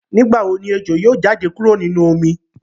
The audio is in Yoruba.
Nigbawo ni ejo yoo jade kuro ninu omi?